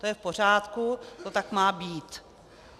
To je v pořádku, to tak má být.